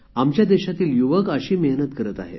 आमच्या देशातील युवक अशी मेहनत करत आहेत